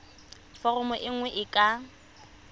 foromo e nngwe e ka